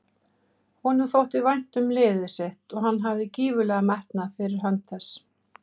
Honum þótti vænt um liðið sitt og hann hafði gífurlegan metnað fyrir hönd þess.